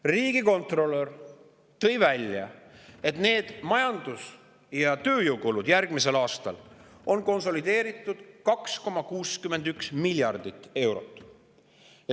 Riigikontrolör tõi välja, et majandamis‑ ja tööjõukulud on järgmisel aastal konsolideeritult 2,61 miljardit eurot.